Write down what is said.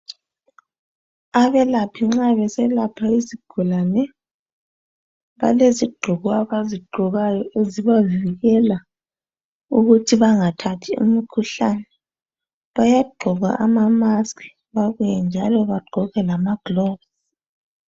Abelaphi nxa beselapha izigulane, balezigqoko abazigqokayo ezibavikela ukuthi bangathathi imikhuhlane ezifana lama gulovisi lama mask.